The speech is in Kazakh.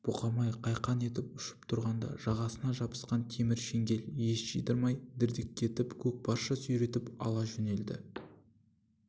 бұқабай қайқаң етіп ұшып тұрғанда жағасына жабысқан темір шеңгел ес жидырмай дірдектетіп көкпарша сүйретіп ала жөнелді